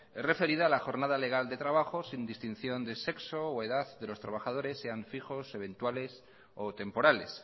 es referida a la jornada legal de trabajo sin distinción de sexo o edad de los trabajadores sean fijos eventuales o temporales